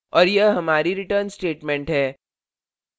और यह हमारी return statement है